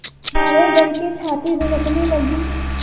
मारे डर के छाती धड़कने लगी